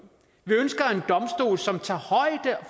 som tager højde